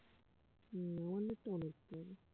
হুঁ আমার net টা on রাখতে হবে